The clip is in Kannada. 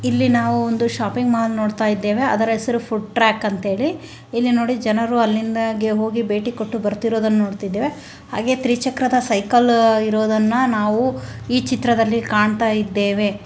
ಇಲ್ಲಿ ನಾವು ಒಂದು ಶಾಪಿಂಗ್ ಮಾಲ್ ನೋಡ್ತಾಯಿದ್ದೇವೆ ಅದರ ಹೆಸರು ಫುಡ್ ಟ್ರ್ಯಾಕ್ ಅಂತ ಹೇಳಿ ಇಲ್ಲಿ ನೋಡಿ ಜನರು ಅಲ್ಲಿಂದಗೆ ಹೋಗಿ ಭೇಟಿ ಕೊಟ್ಟು ಬರ್ತಿರೋದನ್ನು ನೋಡ್ತಾಯಿದ್ದೇವೆ ಹಾಗೆಯೇ ತ್ರಿ ಚಕ್ರದ ಸೈಕಲ್ ಇರೋದನ್ನ ನಾವು ಈ ಚಿತ್ರದಲ್ಲಿ ಕಾಣತಾ ಇದ್ದೇವೆ.